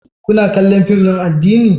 Kuna kallon fim din addini?